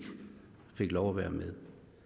fik lov at være med